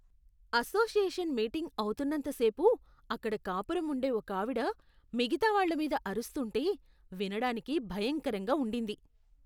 Association meeting అవుతున్నంతసేపు అక్కడ కాపురం ఉండే ఒకావిడ మిగతా వాళ్ళ మీద అరుస్తుంటే వినడానికి భయంకరంగా ఉండింది.